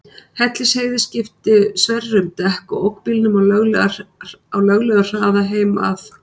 Hellisheiði skipti Sverrir um dekk og ók bílnum á löglegum hraða heim að